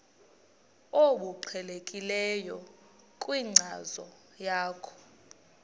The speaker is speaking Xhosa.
obuqhelekileyo kwinkcazo yakho